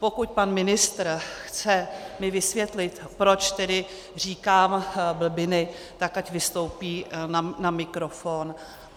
Pokud pan ministr mi chce vysvětlit, proč tedy říkám blbiny, tak ať vystoupí na mikrofon.